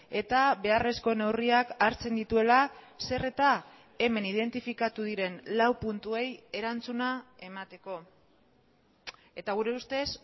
eta beharrezko neurriak hartzen dituela zer eta hemen identifikatu diren lau puntuei erantzuna emateko eta gure ustez